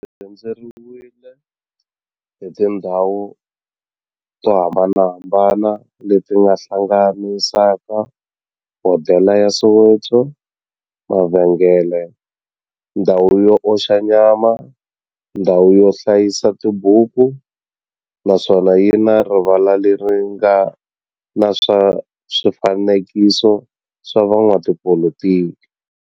Xi rhendzeriwile hi tindhawu to hambanahambana le ti hlanganisaka, hodela ya Soweto, mavhengele, ndhawu yo oxa nyama, ndhawu yo hlayisa tibuku, naswona yi na rivala le ri nga na swifanekiso swa vo n'watipolitiki.